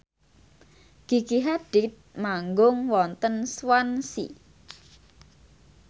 Gigi Hadid manggung wonten Swansea